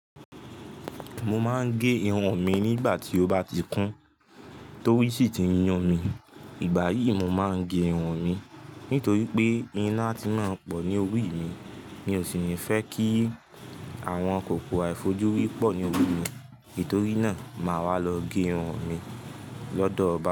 Mo máa ń gẹ irun mi nígbà tí ó bá ti kún torí sì ti n yun mi. Ìgbà yí, mo máa ń gẹ irun mi nítorí pé iná a ti máa ń pọ̀ ní orí mi. Mi ò sì ní fẹ́ kí àwọn kòkò àìfojúrí pọ̀ ní orí mi. Nítorí náà, màá wá lọ gẹ irun mi lọ́dọ̀ bàbá mi.